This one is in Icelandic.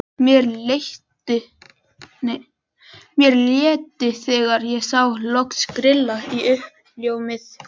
Mér létti þegar ég sá loks grilla í uppljómað húsið.